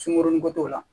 Sunkuruninko t'o la